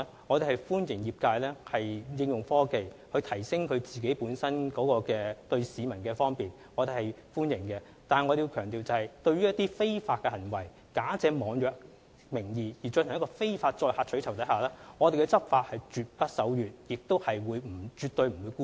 我們歡迎業界利用科技，為市民提供更方便的服務，但我們必須強調，對於一些假借網約的名義而進行的非法取酬活動，我們的執法絕不手軟，亦絕對不會姑息。